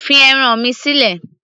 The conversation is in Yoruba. fi ẹran mi sílẹ̀